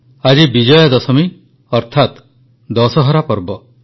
ଆଜି ବିଜୟାଦଶମୀ ଅର୍ଥାତ୍ ଦଶହରା ପର୍ବ